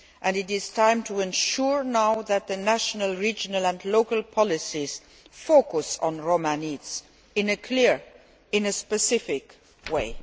It is now time to ensure that national, regional and local policies focus on Roma needs in a clear and specific way.